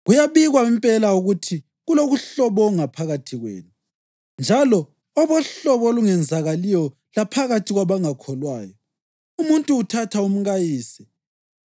Kuyabikwa impela ukuthi kulokuhlobonga phakathi kwenu njalo obohlobo olungenzakaliyo laphakathi kwabangakholwayo: Umuntu uthatha umkayise.